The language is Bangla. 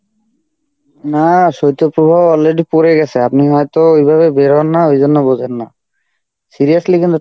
না শৈত্য প্রভাব already পরে গেছে, আপনি হয়তো ওইভাবে বের হন না ওই জন্য বোঝেন না. seriously কিন্তু ঠান্ডা